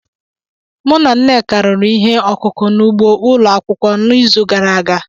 Mụ na Nneka rụrụ ihe ọkụkụ n’ugbo ụlọ akwụkwọ n’izu gara aga.